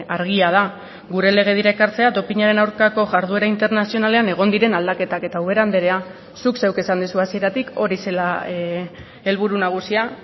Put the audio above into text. argia da gure legedira ekartzea dopinaren aurkako jarduera internazionalean egon diren aldaketak eta ubera andrea zuk zeuk esan duzu hasieratik hori zela helburu nagusia